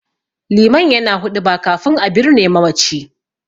Liman yana huɗuba kafin a birne mamaci.